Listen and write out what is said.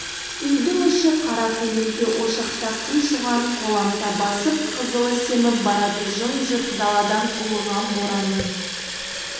үйдің іші қара көлеңке ошақта қи шоғын қоламта басып қызылы семіп барады жым-жырт далада ұлыған боранның